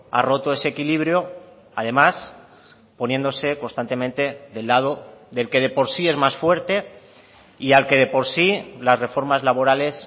ha roto ese equilibrio además poniéndose constantemente del lado del que de por sí es más fuerte y al que de por sí las reformas laborales